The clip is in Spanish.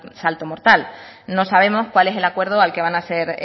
salto mortal no sabemos cuál es el acuerdo al que van a ser